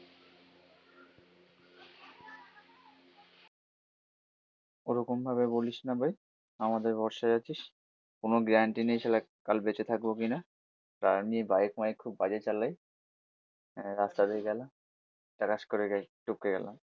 ওরকম ভাবে বলিসনা ভাই, আমাদের ভরসায় আছিস কোনো গ্যারান্টি নেই সালা কাল বেঁচে থাকবো কিনা। তাও আবার বাইক মাইক খুব বাজে চালায়, আহ রাস্তা দিয়ে গেলাম টাকাস করে গিয়ে টপকে গেলাম